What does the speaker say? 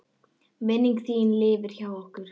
Minning þín lifir hjá okkur.